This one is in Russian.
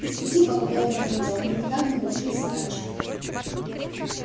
и с пути по которому мы идём мы никак не должны сворачивать